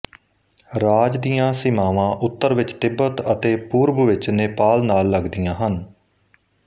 ਰਾਜ ਦੀ ਸੀਮਾਵਾਂ ਉੱਤਰ ਵਿੱਚ ਤਿੱਬਤ ਅਤੇ ਪੂਰਬ ਵਿੱਚ ਨੇਪਾਲ ਨਾਲ ਲੱਗਦੀਆਂ ਹਨ